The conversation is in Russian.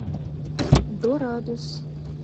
дорадус